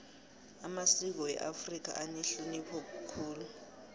amasiko weafrika anehlonipho khulu